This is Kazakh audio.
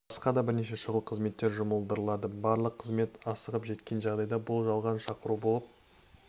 басқа да бірнеше шұғыл қызметтер жұмылдырылады барлық қызметтер асығып жеткен жағдайда бұл жалған шақыру болып